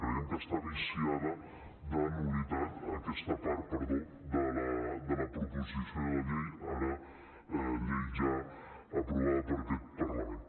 creiem que està viciada de nul·litat aquesta part perdó de la proposició de llei ara llei ja aprovada per aquest parlament